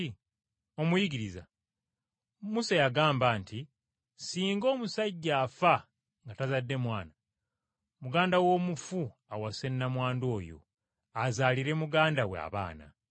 “Omuyigiriza Musa yagamba nti, ‘Singa omusajja afa nga tazadde mwana, muganda w’omufu awase nnamwandu oyo azaalire muganda we abaana.’